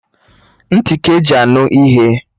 Nti ka-eji anụ ihe